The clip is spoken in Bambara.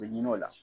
U bɛ ɲin'o la